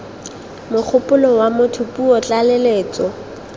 mogopolo wa motho puo tlaleletso